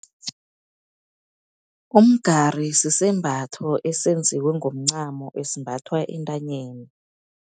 Umgari sisembatho esenziwe ngomncamo, esimbathwa entanyeni.